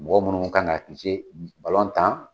Mɔgɔ munnu kan ka ki tan.